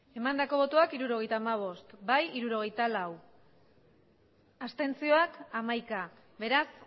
resultado de la votación setenta y cinco votos emitidos sesenta y cuatro votos a favor once abstenciones beraz